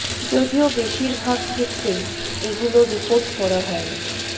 যদিও বেশির ভাগ ক্ষেত্রেই এগুলো রিপোর্ট করা হয় না